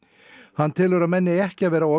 hann telur að menn eigi ekki að vera of